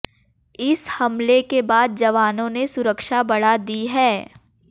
इस हमले के बाद जवानों ने सुरक्षा बढ़ा दी हैं